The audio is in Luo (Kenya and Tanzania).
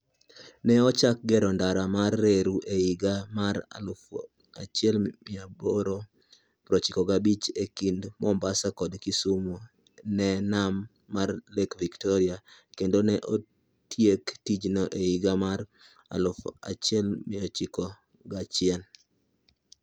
Ne ochak gero ndara mar reru e higa mar 1895 e kind Mombasa kod Kisumu e nam mar Lake Victoria, kendo ne otiek tijno e higa mar 1901.